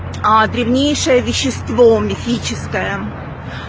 древнейшее вещество мифическое